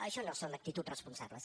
això no són actituds responsables